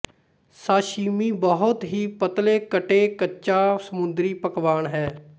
sashimi ਬਹੁਤ ਹੀ ਪਤਲੇ ਕਟੇ ਕੱਚਾ ਸਮੁੰਦਰੀ ਪਕਵਾਨ ਹੈ